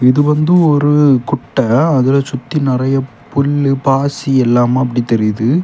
இது வந்து ஒரு குட்ட. அதுல சுத்தி நெறைய புல்லு பாசி எல்லாமா அப்டி தெரியுது.